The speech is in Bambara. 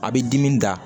A bɛ dimi da